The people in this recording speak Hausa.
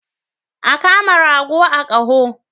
A kama rago a koho.